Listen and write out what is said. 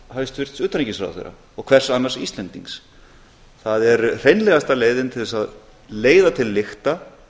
hæstvirts utanríkisráðherra og hvers annars íslendings það er hreinlegasta leiðin til að leiða til lykta